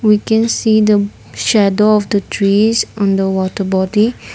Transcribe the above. we can see the shadow of the trees on the water body.